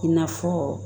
I n'a fɔ